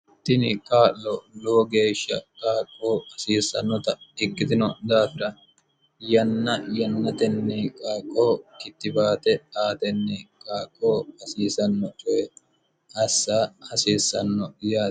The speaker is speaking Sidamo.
tini qaa'lo lowo geeshsha qaaqqoo hasiissannota ikkitino daafira yanna yannatenni qaaqqoo kittibaate aatenni qaaqqoo hasiisanno toye assa hasiissanno yaati